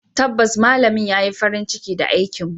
Tabbas malamin ya yi farin ciki da aikinmu.